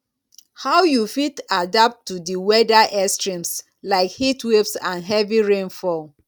how you fit adapt to di weather extremes like heatwaves and heavy rainfall